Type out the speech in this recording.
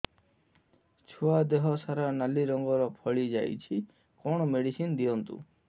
ଛୁଆ ଦେହ ସାରା ନାଲି ରଙ୍ଗର ଫଳି ଯାଇଛି କଣ ମେଡିସିନ ଦିଅନ୍ତୁ